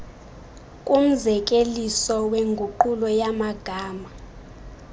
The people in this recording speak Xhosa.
kumzekeliso wenguqulo yamagama